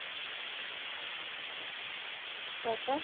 হম তারপর?